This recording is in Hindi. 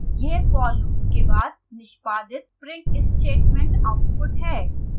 यह for loop के बाद निष्पादित print statement आउटपुट है